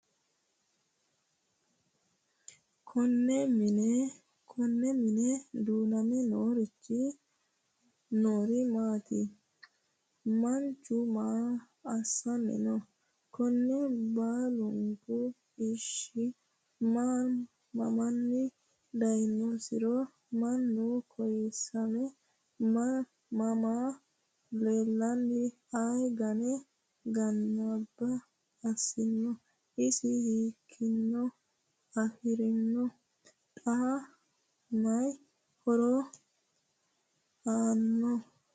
Konne mine duuname noori maatti? Manchu maa assanni noo? Kunni baallunku isiho? Mamanni dayiinnosire? Mama kayiisamme mama laalenna ayi ganne ganba assinno? isi hiikkinni afirinno? xa mayi horo aanno?